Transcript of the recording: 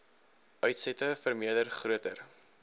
uitsette vermeerder groter